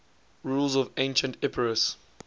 rulers of ancient epirus